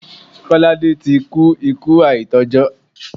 Kọ́ládé ti kú ikú àìtọ́jọ́.